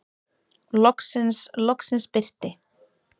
Loksins, loksins birti.